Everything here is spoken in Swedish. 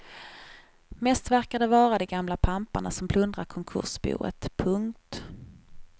Mest verkar det vara de gamla pamparna som plundrar konkursboet. punkt